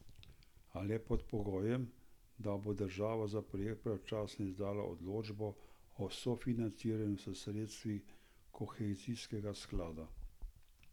A le pod pogojem, da bo država za projekt pravočasno izdala odločbo o sofinanciranju s sredstvi kohezijskega sklada.